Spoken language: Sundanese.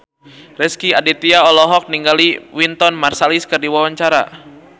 Rezky Aditya olohok ningali Wynton Marsalis keur diwawancara